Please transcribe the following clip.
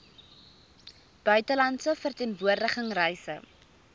buitelandse verteenwoordiging reise